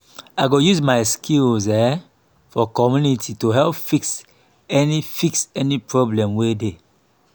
i go use my skills um for community to help fix any fix any problem wey dey.